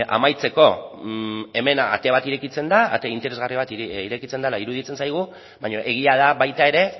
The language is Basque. amaitzeko hemen ate bat irekitzen da ate interesgarri bat irekitzen dela iruditzen zaigu baina egia da baita ere